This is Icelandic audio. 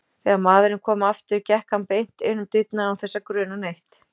Þegar maðurinn kom aftur gekk hann beint inn um dyrnar án þess að gruna neitt.